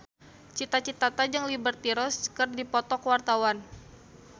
Cita Citata jeung Liberty Ross keur dipoto ku wartawan